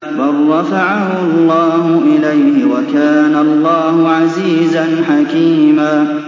بَل رَّفَعَهُ اللَّهُ إِلَيْهِ ۚ وَكَانَ اللَّهُ عَزِيزًا حَكِيمًا